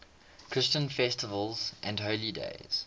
christian festivals and holy days